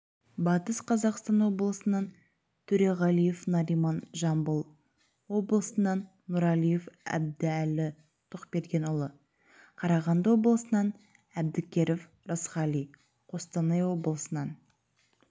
батыс қазақстан облысынан төреғалиев нариман жамбыл облысынан нұрәлиев әбдәлі тоқбергенұлы қарағанды облысынан әбдікеров рысқали қостанай облысынан